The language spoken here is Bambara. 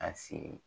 A si